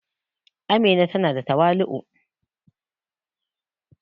Amina ta na da tawali'u